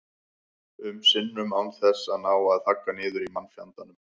um sinnum án þess að ná að þagga niður í mannfjandanum.